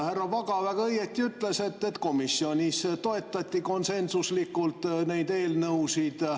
Härra Vaga väga õigesti ütles, et komisjonis toetati konsensuslikult neid eelnõusid.